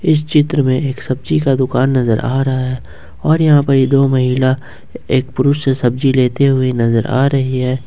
इस चित्र में एक सब्जी का दुकान नजर आ रहा है और यहां पर ये दो महिला एक पुरुष से सब्जी लेते हुए नजर आ रही है।